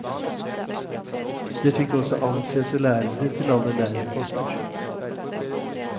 Det fikk også ansette lærere til alle lærerposter.